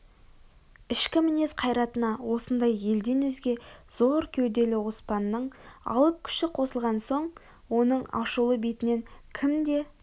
ішкі мінез қайратына осындай елден өзге зор кеуделі оспанның алып күші қосылған соң оның ашулы бетінен кім де